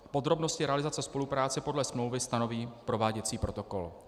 Podrobnosti realizace spolupráce podle smlouvy stanoví prováděcí protokol.